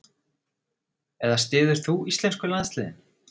Eða styður þú íslensku landsliðin?